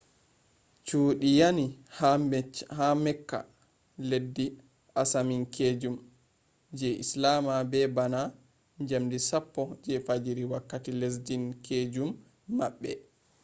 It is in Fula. cuudi yani ha mecca leddi asaminkeejum je islama be bana njamdi 10 je fajjiri wakkati lesdin-keejum maɓɓe